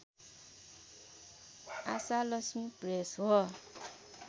Ashalakshmi press हो